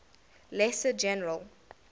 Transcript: lesser general